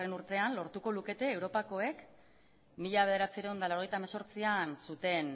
urtean lortuko lukete europakoek mila bederatziehun eta laurogeita hemezortzian zuten